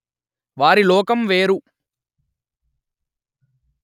వారి లోకం వేరు